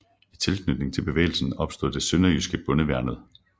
I tilknytning til bevægelsen opstod det sønderjyske Bondeværnet